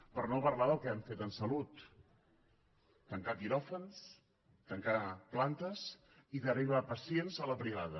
per no parlar del que han fet en salut tancar quiròfans tancar plantes i derivar pacients a la privada